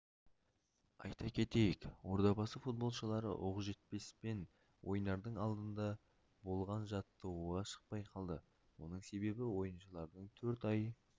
айта кетейік ордабасы футболшылары оқжетпеспен ойнардың алдында болған жаттығуға шықпай қалды оның себебі ойыншылардың төрт ай